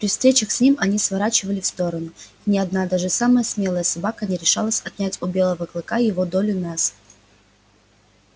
при встречах с ним они сворачивали в сторону и ни одна даже самая смелая собака не решалась отнять у белого клыка его долю мяса